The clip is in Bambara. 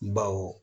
Baw